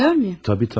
Təbii tanıyorsan.